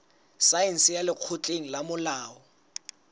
saense ya lekgotleng la molao